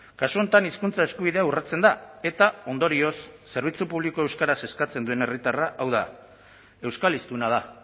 kasu honetan hizkuntza eskubidea urratzen da eta ondorioz zerbitzu publiko euskaraz eskatzen duen herritarra hau da euskal hiztuna da